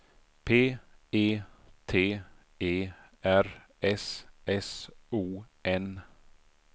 P E T E R S S O N